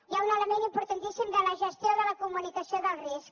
hi ha un element importantíssim de la gestió de la comunicació del risc